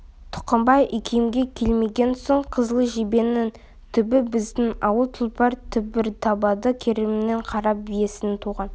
тұқымбай икемге келмеген соң қызыл жебенің түбі біздің ауыл тұлпар түбір табады керімнің қара биесінен туған